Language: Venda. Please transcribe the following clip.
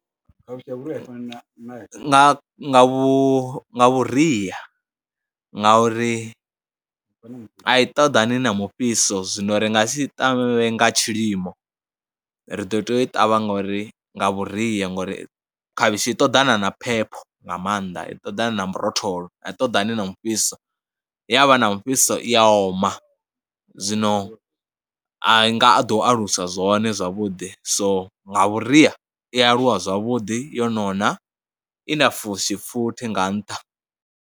Nga nga vhu vhuria ngauri a i ṱoḓani na mufhiso zwino ri nga si ṱavhe nga tshilimo, ri ḓo tea u i ṱavha ngori nga vhuria ngauri khavhishi i ṱoḓana na phepho nga maanḓa. I ṱoḓana na murotholo a i ṱoḓani na mufhiso, ya vha na mufhiso i ya oma. Zwino a nga a ḓo alusa zwone zwavhuḓi, so nga vhuria i aluwa zwavhuḓi yo nona i na fushi futhi nga nṱha.